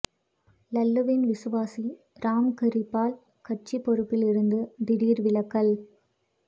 லல்லுவின் விசுவாசி ராம் கிரிபால் கட்சி பொறுப்பில் இருந்து திடீர் விலகல்